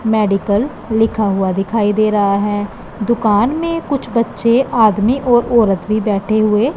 medical लिखा हुआ दिखाई दे रहा है दुकान में कुछ बच्चे आदमी और औरत भी बैठे हुए--